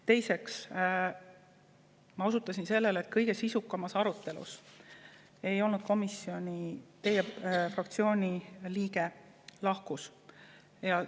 Teiseks, ma osutasin sellele, et kõige sisukamas arutelus ei olnud komisjonis teie fraktsiooni liiget, ta lahkus.